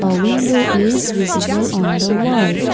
a window is visible on the wall.